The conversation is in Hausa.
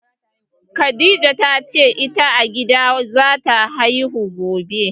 Khadija ta ce ita a gida zata haihuwa gobe